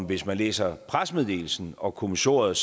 hvis man læser pressemeddelelsen og kommissoriet